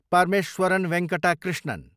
Parameswaran Venkata Krishnan